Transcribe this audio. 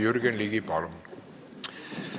Jürgen Ligi, palun!